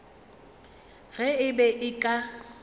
ge e be e ka